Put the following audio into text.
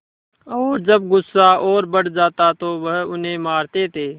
और जब गुस्सा और बढ़ जाता तो वह उन्हें मारते थे